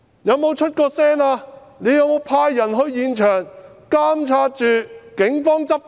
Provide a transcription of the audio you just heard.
有沒有派人到現場監察警方執法？